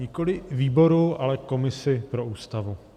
Nikoli výboru, ale komisi pro Ústavu.